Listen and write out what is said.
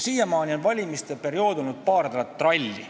Siiamaani on valimiste periood tähendanud paari nädalat tralli.